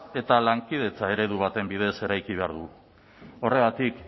eta lankidetza eredu baten bidez eraiki behar dugu horregatik